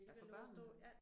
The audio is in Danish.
Ja for børnene?